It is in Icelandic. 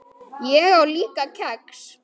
Ég á líka kex.